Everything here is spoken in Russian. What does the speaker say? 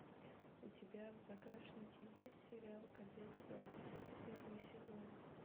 у тебя в загашнике есть сериал кадетство первый сезон